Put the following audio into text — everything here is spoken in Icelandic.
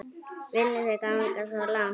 Viljið þið ganga svo langt?